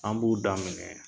An b'u daminɛ